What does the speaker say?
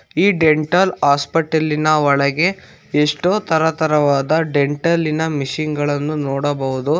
ಈ dental hospital ನ ಒಳಗೆ ಎಷ್ಟೋ ತರತರವಾದ ಡೆಂಟಲ್ ಇನ ಮಿಷನ್ ಗಳನ್ನು ನೋಡಬಹುದು.